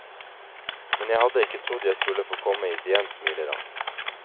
Men jeg hadde ikke trodd jeg skulle få komme hit igjen, smiler han.